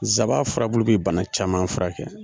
Nsaban furabulu bɛ bana caman furakɛ.